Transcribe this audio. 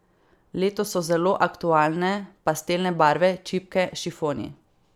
Letos so zelo aktualne pastelne barve, čipke, šifoni...